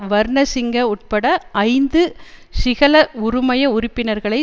வர்ணசிங்க உட்பட ஐந்து சிஹல உறுமய உறுப்பினர்களை